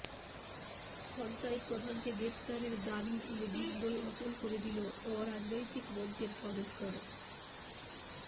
পঞ্চায়েত প্রধানকে গ্রেফতারির দাবি তুলে বিন্দোল অচল করে দিল অরাজনৈতিক মঞ্চের সদস্যরা